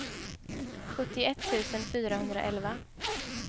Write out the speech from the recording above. sjuttioett tusen fyrahundraelva